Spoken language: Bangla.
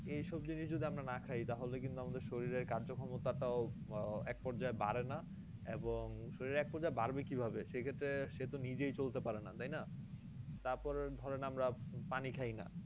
এই সব জিনিস যদি আমরা না খাই তাহলে কিন্তু আমাদের শরীর এর কার্য ক্ষমতা টাও আহ এক পর্যায়ে বাড়ে না এবং শরীরের এক পর্যায়ে বাড়বে কি ভাবে সেই ক্ষেত্রে সে তো নিজেই চলতে পারেনা তাইনা? তারপরে ধরেন আমরা পানি খাইনা